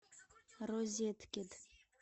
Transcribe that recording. розеткед